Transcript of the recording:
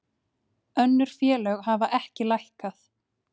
Önnur félög hafa ekki lækkað